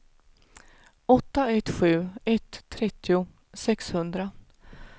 åtta ett sju ett trettio sexhundra